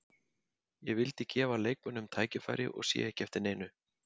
Ég vildi gefa leikmönnum tækifæri og sé ekki eftir neinu.